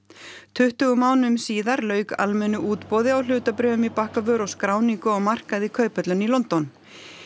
tuttugu mánuðum síðar lauk almennu útboði á hlutabréfum í Bakkavör og skráningu á markað í Kauphöllinni í London